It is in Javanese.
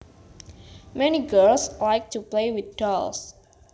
Many girls like to play with dolls